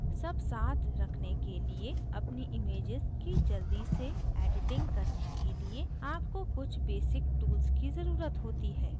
सब साथ रखने के लिए अपनी images की जल्दी से editing करने के लिए आपको कुछ basic tools की ज़रुरत होती है